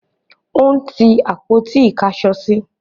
ó n tí àpótí ìkásọsí